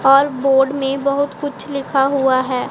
और बोर्ड में कुछ बहुत लिखा हुआ हैं।